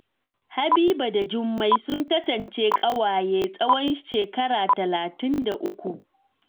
Habiba da Jummai sun kasance ƙawaye tsohon shekara talatin da uku.